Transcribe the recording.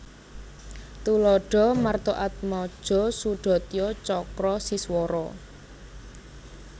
Tuladha Martaatmaja Sudatya Cakra Siswara